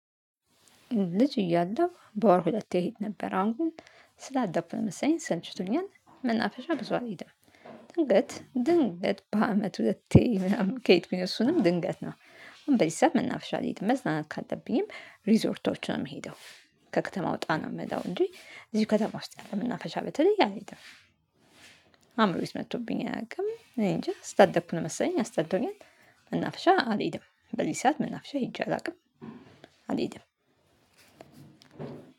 ልጅ እያለው በወር ሁለቴ እሄድ ነበር አሁን ግን ስላደኩ መሰለኝ ሰልችቶኛል መናፍሻ ብዙ አልሄድም። ድንገት ድንገት በአመት ሁለቴ ምናምን ከሄድኩኝ እሱንም ድንገት ነው አሁን በዚ ሰዓት መናፈሻ አልሄድም መዝናናት ካለብኝም ሪዞርቶች ነው የምሄደው። ከከተማ ወጣ ነው ምለው እንጂ እዚሁ ከተማ ውስጥ ያለ መናፍሻ በተለይ አልሄድም። አእምሮየ ወስጥ መቶብኝ አያውቅም እኔ እንጃ ስላደኩ ነው መሰለኝ አስጠልቶኛል። መናፍሻ አልሄድም በዚ ሰዓት መናፍሻ ሄጄ አላውቅም። አልሄድም።